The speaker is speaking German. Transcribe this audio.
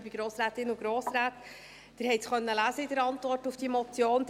Sie konnten es in der Antwort auf diese Motion lesen: